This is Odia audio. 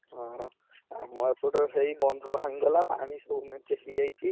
ହୁଁ, ଆମ ଏପଟରେ ସେଇ ବନ୍ଧ ଭାଙ୍ଗିଗଲା, ପାଣି ସବୁ ହେଇ ଯାଇଛି।